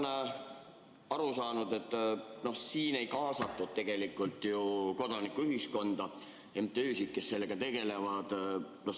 Ma olen aru saanud, et siin ei kaasatud tegelikult ju kodanikuühiskonda, MTÜ‑sid, kes sellega tegelevad.